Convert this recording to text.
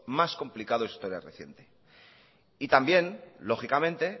más complicado de su historia reciente y también lógicamente